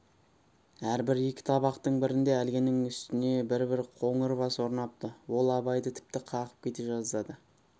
әрбір екі табақтың бірінде әлгінің үстіне бір-бір қоңыр бас орнапты ол абайды тіпті қағып кете жаздады